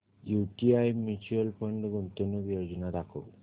UTI mutual fund गुंतवणूक योजना दाखव